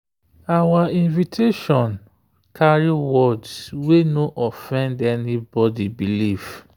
our invitation carry words wey no offend anybody belief.